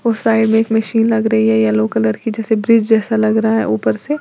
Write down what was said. और साइड में एक मशीन लग रही है येलो कलर की जैसे ब्रिज जैसा लग रहा है ऊपर से।